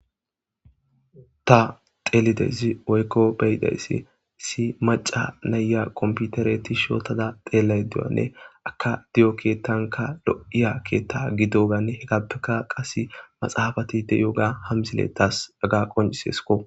Ta xeelideysi oykko beyidayssi si maca naya komputareti shootada deelay duwanne aka di7o keettanka lo7iya keetta gidoganne hegappeka qase maxaafatide yoga hamsiletas daga qoncisesko.